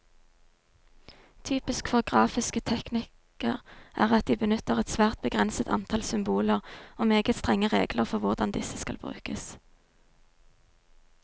Typisk for grafiske teknikker er at de benytter et svært begrenset antall symboler, og meget strenge regler for hvordan disse skal brukes.